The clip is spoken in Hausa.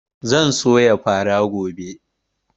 Zan soya fara gobe